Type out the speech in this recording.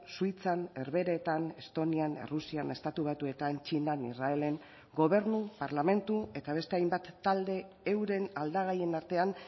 suitzan herbeheretan estonian errusian estatu batuetan txinan israelen gobernu parlamentu eta beste hainbat talde euren aldagaien artean